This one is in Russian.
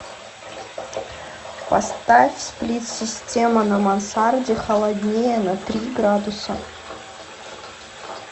поставь сплит система на мансарде холоднее на три градуса